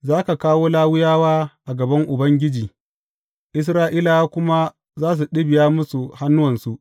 Za ka kawo Lawiyawa a gaban Ubangiji, Isra’ilawa kuma za su ɗibiya musu hannuwansu.